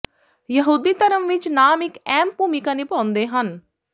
ਯਹੂਦੀ ਧਰਮ ਵਿਚ ਨਾਮ ਇਕ ਅਹਿਮ ਭੂਮਿਕਾ ਨਿਭਾਉਂਦੇ ਹਨ